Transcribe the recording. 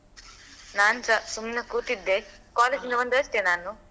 ನಾನ್ಸ ಸುಮ್ನೆ ಕೂತಿದ್ದೆ college ನಿಂದ ಬಂದದಷ್ಟೇ ನಾನು.